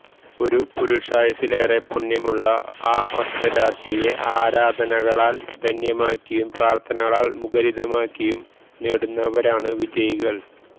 ഒരു പുരുഷായുസ്സിലേറെ പുണ്യമുള്ള ആ ഒറ്റ രാത്രിയെ ആരാധനകളാൽ ധന്യമാക്കിയും പ്രാർഥനകളാൽ മുഖരിതമാക്കിയും നേടുന്നവരാണ് വിജയികൾ